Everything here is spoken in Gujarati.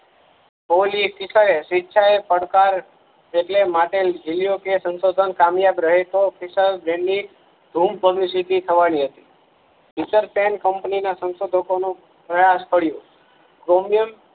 કોહલી શિખરે સ્વેચ્છાએ પડકાર એટલે માટે જીલીયો કે સંસોધન કામીયાબ રહે તો ફિસલજેમી ધૂમ પબ્લિસિટી થવા ની હતી Futuretnsecompany ના સંશોધકો નું ત્રાસ પડીયો ક્રોમિયમ